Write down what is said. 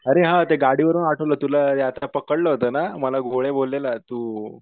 अरे हा ते गाडीवरून आठवलं तुला एकदा पकडलं होत ना? मला गोळे बोललेला तू